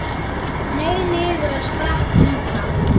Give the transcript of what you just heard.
Hneig niður og sprakk líka.